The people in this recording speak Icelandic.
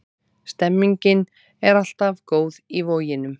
Stemningin er alltaf jafn góð í Voginum.